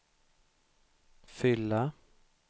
fylla